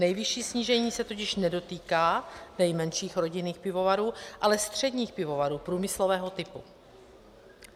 Nejvyšší snížení se totiž nedotýká nejmenších rodinných pivovarů, ale středních pivovarů průmyslového typu.